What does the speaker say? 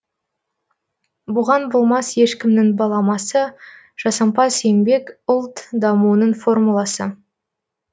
бұған болмас ешкімнің баламасы жасампаз еңбек ұлт дамуының формуласы